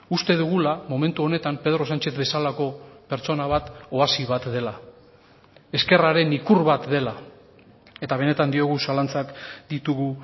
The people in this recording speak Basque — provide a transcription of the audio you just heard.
uste dugula momentu honetan pedro sánchez bezalako pertsona bat oasi bat dela ezkerraren ikur bat dela eta benetan diogu zalantzak ditugu